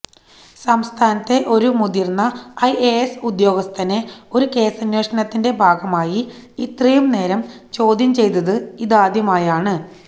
സംസ്ഥാനത്തെ ഒരു മുതിർന്ന ഐഎഎസ് ഉദ്യോഗസ്ഥനെ ഒരു കേസന്വേഷണത്തിന്റെ ഭാഗമായി ഇത്രയും നേരം ചോദ്യം ചെയ്തത് ഇതാദ്യമായാണ്